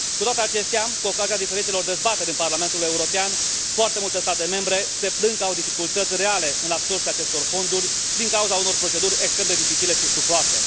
Cu toate acestea, cu ocazia diferitelor dezbateri din Parlamentul European, foarte multe state membre se plâng că au dificultăți reale în absorbția acestor fonduri din cauza unor proceduri extrem de dificile și stufoase.